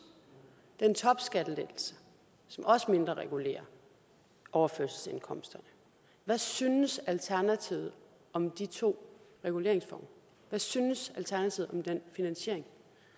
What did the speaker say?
den topskattelettelse som også mindreregulerer overførselsindkomster hvad synes alternativet om de to reguleringsformer hvad synes alternativet om den finansiering